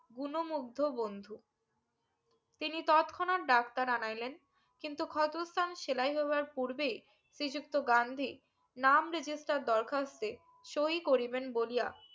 গুনো মুগ্ধ বন্ধু তিনি তৎক্ষণাৎ ডাক্তার আনাইলেন কিন্তু ক্ষত স্থান সেলাই হাবার পূর্বেই শ্রীযুক্ত গান্ধী নাম register দরখাস্তে সই করিবেন বলিয়া